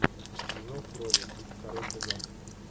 зов крови второй сезон